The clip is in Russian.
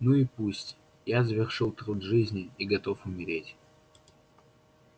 ну и пусть я завершил труд жизни и готов умереть